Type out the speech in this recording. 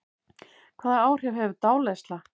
Hvaða áhrif hefur dáleiðsla?